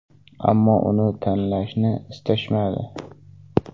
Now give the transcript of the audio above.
Ammo uni tanlashni istashmadi.